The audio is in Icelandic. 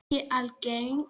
Ekki algeng.